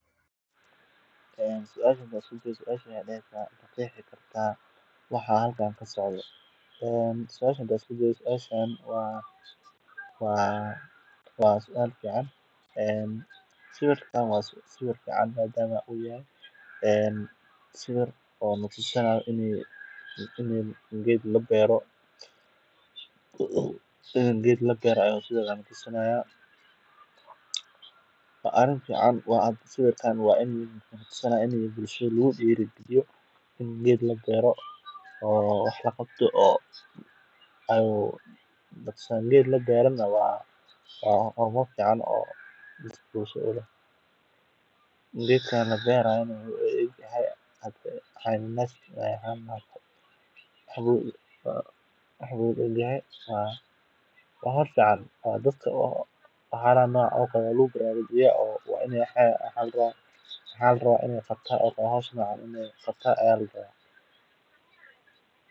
Beerista geedaha waa hawl muhiim ah oo door weyn ka ciyaarta ilaalinta deegaanka, kobcinta nolosha aadanaha, iyo horumarinta dhaqaalaha. Geeduhu waxay bixiyaan hawada nadiifta ah iyagoo nuugaya kaarboon laba ogsaydhka una sii daaya oksijiin, taasoo muhiim u ah neefsashada noolaha. Intaa waxaa dheer, waxay ka hortagaan nabaad guurka dhulka, daadadka, iyo xaalufka deegaanka, iyagoo xoojiya ciidda